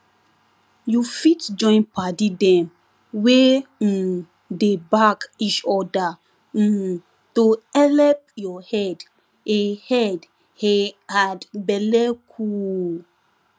you fit join padi dem wey um dey back each other um to helep your head a head a had belle cool